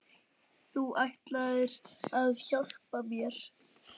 Þú ætlaðir að hjálpa mér.